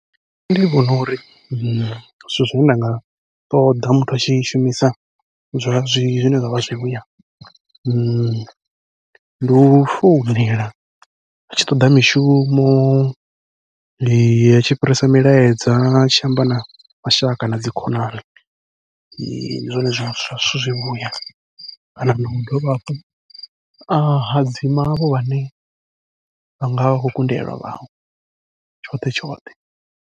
Nṋe ndi vhona uri zwithu zwine nda nga ṱoḓa muthu atshi shumisa zwa zwi zwine zwavha zwivhuya, ndi u founela atshi toḓa mishumo, atshi fhirisa milaedza, atshi amba na mashaka nadzi khonani ndi zwone zwithu zwivhuya kana nau dovha hafhu a hadzima avho vhane vha ngavha vha khou kundelwa vhaṅwe tshoṱhe tshoṱhe.